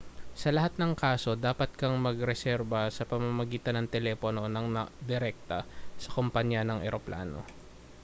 sa lahat ng kaso dapat kang magreserba sa pamamagitan ng telepono nang direkta sa kompanya ng eroplano